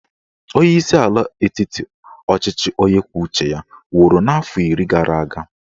Onyeisi ala etiti ọchịchị onye kwuo uche ya nwụrụ n'afọ iri gara aga